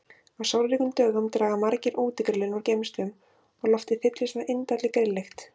Á sólríkum dögum draga margir útigrillin úr geymslum og loftið fyllist af indælli grilllykt.